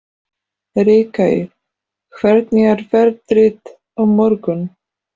Ríkey, hvernig er veðrið á morgun?